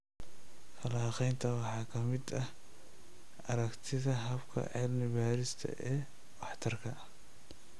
Falanqaynta waxaa ka mid ah aragtida hababka cilmi baarista ee waxtarka.